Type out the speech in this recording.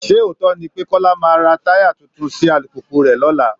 Sé òótọ́ ni pé Kọ́lá maá ra táyà tuntun sí alùpùpù rẹ̀ lọ́la?